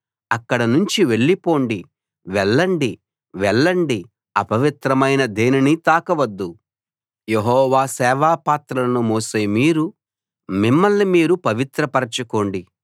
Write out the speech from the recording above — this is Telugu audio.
అక్కడ నుంచి వెళ్ళిపోండి వెళ్ళండి వెళ్ళండి అపవిత్రమైన దేనినీ తాకవద్దు యెహోవా సేవాపాత్రలను మోసే మీరు మిమ్మల్ని మీరు పవిత్రపరచుకోండి